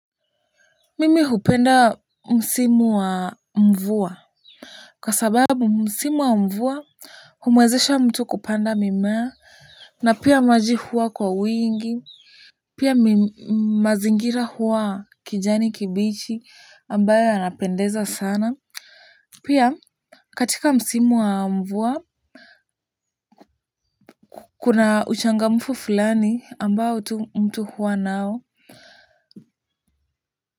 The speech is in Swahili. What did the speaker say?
Mimi hupenda msimu wa mvua kwa sababu msimu wa mvua humwezesha mtu kupanda mimea na pia maji huwa kwa wingi pia mazingira huwa kijani kibichi ambayo yanapendeza sana. Pia katika msimu wa mvua kuna uchangamfu fulani ambao tu mtu huwa nao. Kwa hivyo.